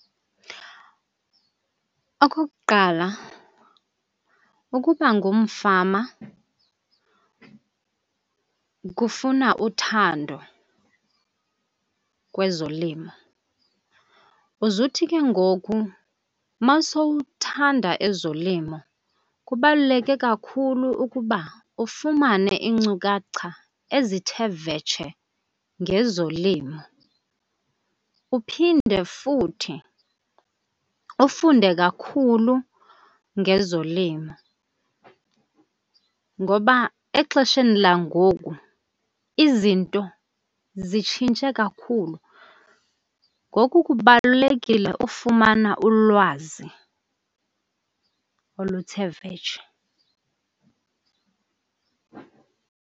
Okokuqala, ukuba ngumfama kufuna uthando kwezolimo, uze uthi ke ngoku uma sowuthanda ezolimo kubaluleke kakhulu ukuba ufumane iincukhacha ezithe vetshe ngezolimo. Uphinde futhi ufunde kakhulu ngezolimo ngoba exesheni langoku izinto zitshintshe kakhulu, ngoku kubalulekile ufumana ulwazi oluthe vetshe.